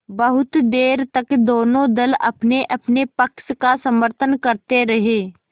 बहुत देर तक दोनों दल अपनेअपने पक्ष का समर्थन करते रहे